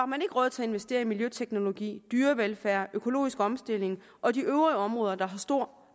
man ikke råd til at investere i miljøteknologi dyrevelfærd økologisk omstilling og de øvrige områder der har stor